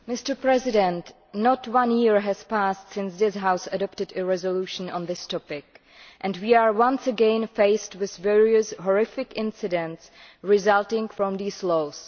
Mr President, not one year has passed since this House adopted a resolution on this topic, and we are once again faced with various horrific incidents resulting from these laws.